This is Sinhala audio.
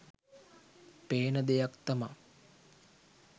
පේන දෙයක් තමා